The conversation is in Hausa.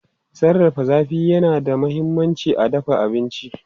Sarrafa zafi yana da mahimmanci a dafa abinci.